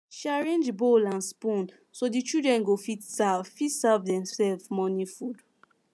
she arrange bowl and spoon so the children go fit serve fit serve demself morning food